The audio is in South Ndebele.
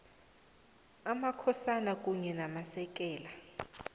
amakhosana kunye namasekela